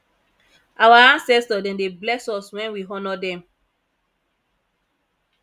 our ancestor dem dey bless us wen we honour dem